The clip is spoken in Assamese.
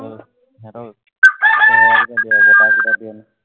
সিহঁতক চেহেৰা কিটা দিয়া যায়, তাৰ কিটা দিয়া নাই